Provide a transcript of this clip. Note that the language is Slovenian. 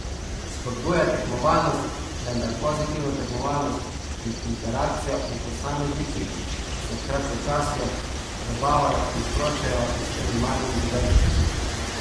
Spodbuja tekmovalnost, vendar pozitivno tekmovalnost in interakcijo med posamezniki, ki se kratkočasijo, zabavajo in sproščajo s temi malimi zadevicami.